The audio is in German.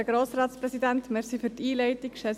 – Das war sehr, sehr angenehm.